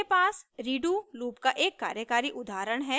मेरे पास redo loop का एक कार्यकारी उदहारण है